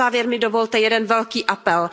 A na závěr mi dovolte jeden velký apel.